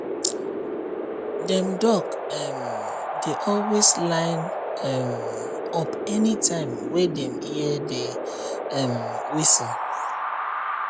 dem duck um dey always line um up anytime wey dem hear the um whistle